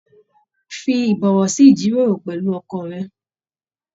Fí ibọwọ sí ijiroro pẹlú olùkọ rẹ.